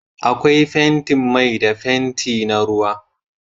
Akwai fentin mai da fenti na ruwa